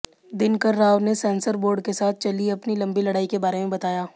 दिनकर राव ने censor board के साथ चली अपनी लंबी लड़ाई के बारे में बताया